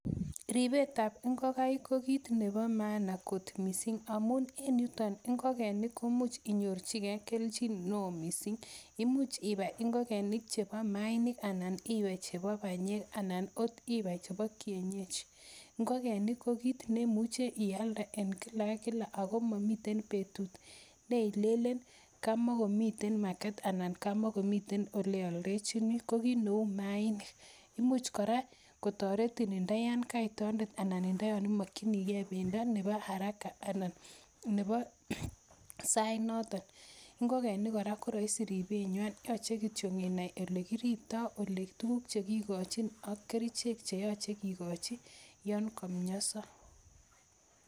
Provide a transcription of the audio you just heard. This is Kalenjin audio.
Ripetap ngokaik konkiit nepo maana missing' amun en yutok, ngolkeniik ko much inyorchogei kelchiin ne oo missing'. Imuch ipai ngokenik chepo maainik anan iwe chepo panyek anan kot ipai chepo kienyeji. Ngokenik ko kiit ne imuchi ialde en kila kila ako mamite petut ne ilelen kamakomite market anan kama mitei ole ialdechini, ko kiit ne u maainik. Imuch kora kotaretin nda yan kait toondet ana ko yan imakchinigei pendo nepo haraka anan nepo sait notok. Ngokeniik kora ko raisi ripenwa , yache kityo inai ole kiriptai, tuguk che kikakchin ak kerichek che yache kikachi yan kamiansa.